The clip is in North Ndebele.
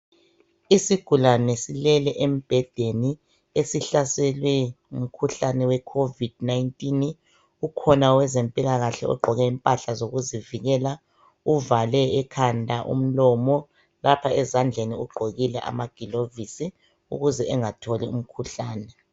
Isigulane silele embhedeni esihlaselwe ngumkhuhlane we covid 19 ukhona owezempilakahle ogqoke impahla zokuzivikela uvale ekhanda, umlomo lapha ezandleni ugqokile amagilovisi ukuze engatholi umkhuhlani.